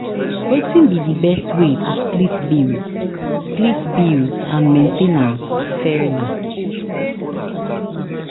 wetin be di best way to split bills split bills and main ten ance fairly?